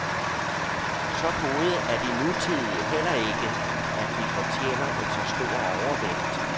Så gode er de nutidige heller ikke, at de fortjener en så stor overvægt.